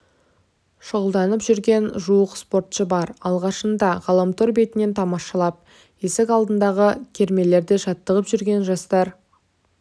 шұғылданып жүрген жуық спортшы бар алғашында ғаламтор бетінен тамашалап есік алдындағы кермелерде жаттығып жүрген жастар